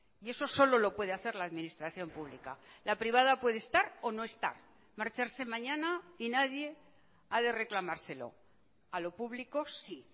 y eso solo lo puede hacer la administración pública la privada puede estar o no estar marcharse mañana y nadie ha de reclamárselo a lo público sí